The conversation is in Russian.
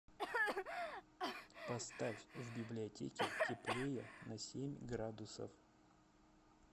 поставь в библиотеке теплее на семь градусов